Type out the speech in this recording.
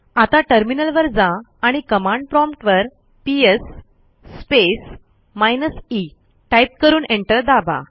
आता टर्मिनलवर जा आणि कमांड प्रॉम्प्ट वरps स्पेस माइनस ई टाईप करून एंटर दाबा